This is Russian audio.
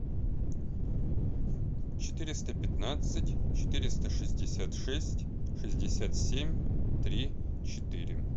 четыреста пятнадцать четыреста шестьдесят шесть шестьдесят семь три четыре